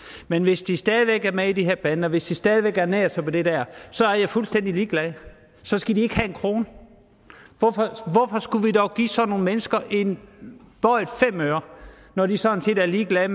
men hvis de stadig væk er med i de her bander hvis de stadig væk ernærer sig ved det der så er jeg fuldstændig ligeglad så skal de ikke have en krone hvorfor skulle vi dog give sådan nogle mennesker en bøjet femøre når de sådan set er ligeglade